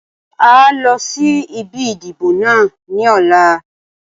Áà ó lọ sí ibi ìdìbò náà ni ọ̀la.